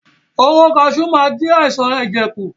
Hóró kaṣú máa ń dí àìsàn ẹ̀jẹ̀ kù.